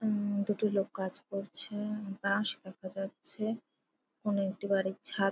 উম দুটি লোক কাজ করছে বাঁশ দেখা যাচ্ছে। কোনো একটি বাড়ির ছাদ--